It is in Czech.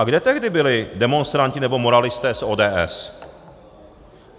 A kde tehdy byli demonstranti nebo moralisté z ODS?